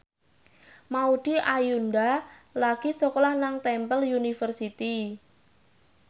Maudy Ayunda lagi sekolah nang Temple University